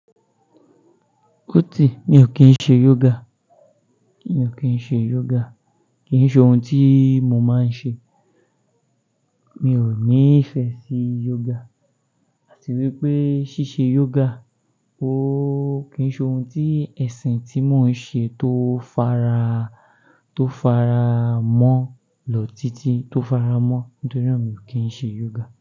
Ó ti, mi ò kín ṣe yoga, mi ò kín ṣe yoga. Kì í ṣe ohun tí mo máa ń ṣe. Mi ò ní ìfẹ́ sí yoga àti wípé ṣíṣe yoga ó kì ń ṣe ohun tí ẹ̀sìn tí mò ń ṣe tó fara, tó fara mọ́ lọ títí, tó fara mọ́. Nítorí mi ò kín ṣe yoga.